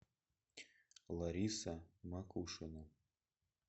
лариса макушина